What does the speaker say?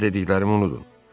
Sizə dediklərimi unudun.